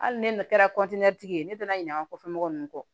Hali ne kɛra tigi ye ne donna ɲina an kɔfɛ mɔgɔ nunnu kɔ